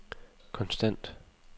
konstant